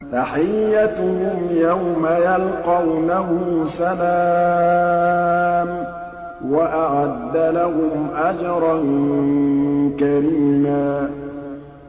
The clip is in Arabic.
تَحِيَّتُهُمْ يَوْمَ يَلْقَوْنَهُ سَلَامٌ ۚ وَأَعَدَّ لَهُمْ أَجْرًا كَرِيمًا